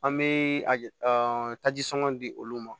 An bɛ a taji sɔngɔ di olu ma